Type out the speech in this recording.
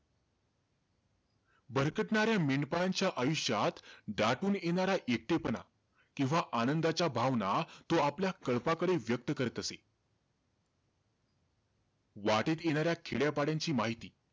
भरकटणाऱ्या मेंढपाळांच्या आयुष्यात दाटून येणार एकटेपणा किंवा आनंदाच्या भावना, तो आपल्या काळपाकडे व्यक्त करीत असे. वाटेत येणाऱ्या खेड्यापाड्यांची माहिती,